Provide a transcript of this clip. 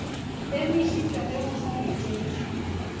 emišitšwe ge go sa letetšwe